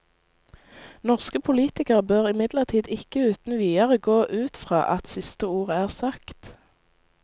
Norske politikere bør imidlertid ikke uten videre gå ut fra at siste ord er sagt.